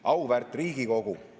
Auväärt Riigikogu!